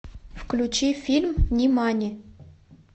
включи фильм нимани